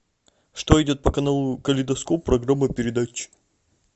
что идет по каналу калейдоскоп программа передач